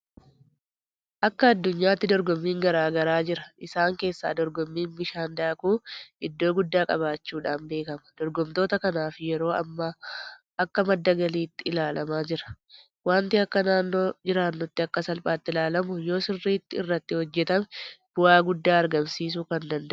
Akka addunyaatti dorgommiin garaa garaa jira. Isaan keessaa dorgommiin bishaan daakuu iddoo guddaa qabaachuudhaan beekama. Dorgomtoota kanaaf yeroo ammaa akka madda galiitti ilaalamaa jira. Waanti akka naannoo jiraannuutti akka salphaatti ilaalamu yoosirrriitti irratti hojjetame bu'aa guddaa argamamsiisuu kan danda'udha.